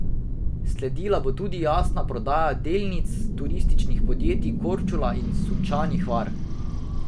Sledila bo tudi javna prodaja delnic turističnih podjetij Korčula in Sunčani Hvar.